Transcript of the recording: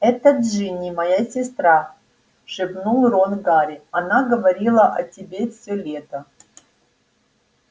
это джинни моя сестра шепнул рон гарри она говорила о тебе всё лето